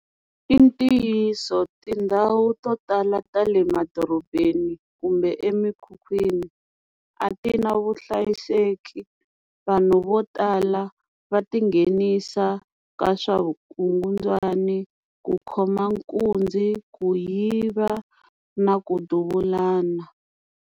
I ntiyiso tindhawu to tala ta le madorobeni kumbe emikhukhwini a ti na vuhlayiseki vanhu vo tala va ti nghenisa ka swa vukungundzwani ku khoma nkunzi ku yiva na ku duvulana.